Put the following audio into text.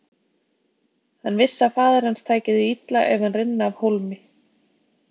Hann vissi að faðir hans tæki því illa ef hann rynni af hólmi.